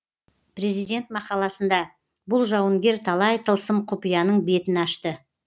президент мақаласында бұл жауынгер талай тылсым құпияның бетін ашты